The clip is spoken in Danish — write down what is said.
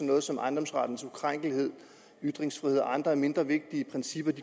noget som ejendomsrettens ukrænkelighed ytringsfriheden og andre mindre vigtige principper